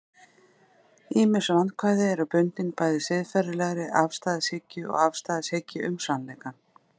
ýmis vandkvæði eru bundin bæði siðferðilegri afstæðishyggju og afstæðishyggju um sannleikann